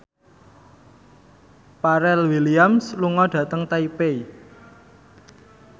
Pharrell Williams lunga dhateng Taipei